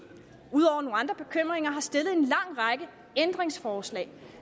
har stillet en lang række ændringsforslag